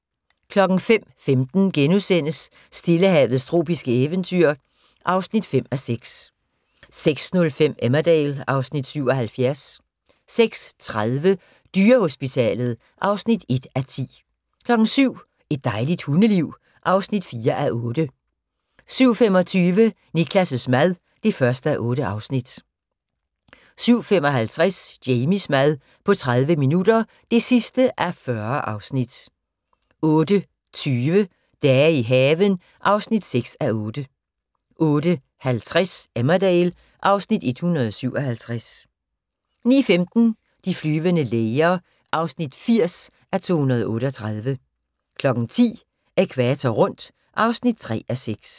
05:15: Stillehavets tropiske eventyr (5:6)* 06:05: Emmerdale (Afs. 77) 06:30: Dyrehospitalet (1:10) 07:00: Et dejligt hundeliv (4:8) 07:25: Niklas' mad (1:8) 07:55: Jamies mad på 30 minutter (40:40) 08:20: Dage i haven (6:8) 08:50: Emmerdale (Afs. 157) 09:15: De flyvende læger (80:238) 10:00: Ækvator rundt (3:6)